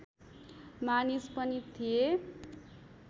मानिस पनि थिए